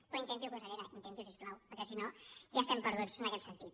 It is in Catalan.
però intenti ho consellera intenti ho si us plau perquè si no ja estem perduts en aquest sentit